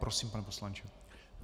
Prosím, pane poslanče.